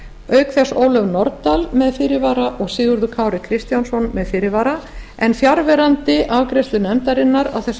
auk þess ólöf nordal með fyrirvara og sigurður kári kristjánsson með fyrirvara en fjarverandi afgreiðslu nefndarinnar á þessu